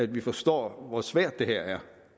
vi forstår hvor svært det her er